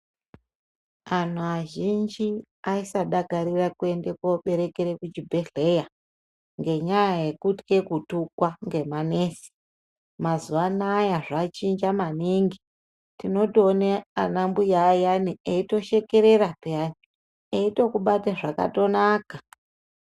Antu azhinji aisadakarira kuenda kuberekera kuchibhedhlera ngenyaya yekutye kutukwa ngemanesi mazuvaanaya zvachinja maniningi tinotoona ana mbuya ayani eitoshekerera eitokubata zvakanaka.